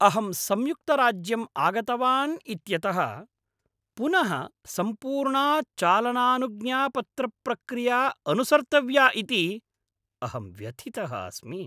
अहं संयुक्तराज्यम् आगतवान् इत्यतः पुनः सम्पूर्णा चालनानुज्ञापत्रप्रक्रिया अनुसर्तव्या इति अहं व्यथितः अस्मि।